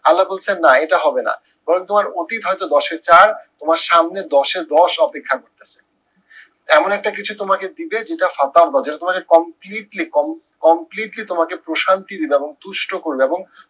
আল্লা বলছেন না এটা হবে না। তোমার অতীত হয়তো দশে চার তোমার সামনে দশে দশ অপেক্ষা করতেসে। এমন একটা কিছু তোমাকে দিবে যেটা যেটা তাঁকে completely completely তোমাকে প্রশান্তি দিবে এবং তুষ্ট করবে এবং